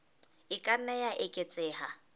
e ka nna ya eketseha